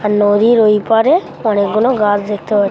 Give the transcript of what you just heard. আর নদীর ওই পারে অনেকগুলো গাছ দেখতে পা--